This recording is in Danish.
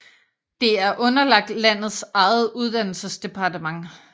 Det er underlagt landets eget uddannelsesdepartement